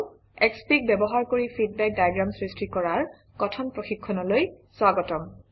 Xfig ব্যবহাৰ কৰি feedback diagram সৃষ্টি কৰাৰ কথন প্ৰশিক্ষণলৈ স্বাগতম